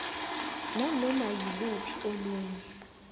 nanoma yiluphi olunye